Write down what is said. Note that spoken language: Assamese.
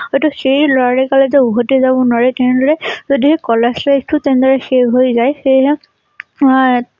এইটো সেই লৰালি কালত যে উভতি যাব নোৱাৰি তেনেদৰে যদি কলেজ life টো তেনেদৰে শেষ হৈ যায় হেইয়া মই